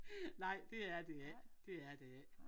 Nej det er det ikke det er det ikke